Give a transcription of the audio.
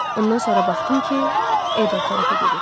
Ondan sonra baxdım ki, o o tərəfə gedir.